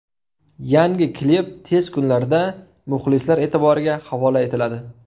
Yangi klip tez kunlarda muxlislar e’tiboriga havola etiladi.